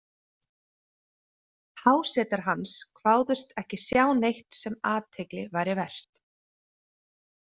Hásetar hans kváðust ekki sjá neitt sem athygli væri vert.